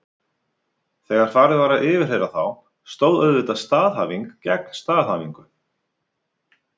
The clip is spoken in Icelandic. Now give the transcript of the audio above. Þegar farið var að yfirheyra þá stóð auðvitað staðhæfing gegn staðhæfingu.